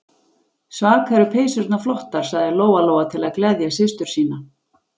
Svaka eru peysurnar flottar, sagði Lóa-Lóa til að gleðja systur sína.